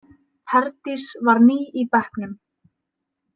Herdís var ný í bekknum.